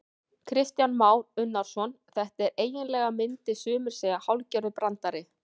Kristján Már Unnarsson: Þetta er eiginlega, myndu sumir segja hálfgerður brandari?